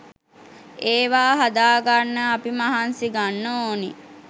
ඒවා හදා ගන්න අපි මහන්සි ගන්න ඔනි.